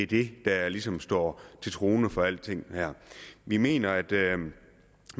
det der ligesom står til troende for alting her vi mener at